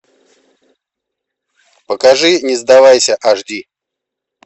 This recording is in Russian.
покажи не сдавайся аш ди